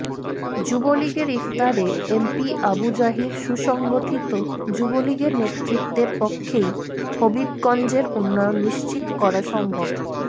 যুবলীগের ইফতারে এমপি আবু জাহির সুসংগঠিত যুবলীগের নেতৃত্বের পক্ষেই হবিগঞ্জের উন্নয়ন নিশ্চিত করা সম্ভব